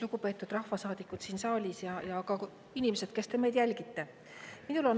Lugupeetud rahvasaadikud siin saalis ja ka inimesed, kes te meid jälgite!